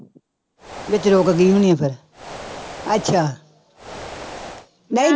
ਵਿੱਚ ਰੁੱਕ ਗਈ ਹੋਣੀ ਆ ਫਿਰ ਅੱਛਾ ਨਹੀਂ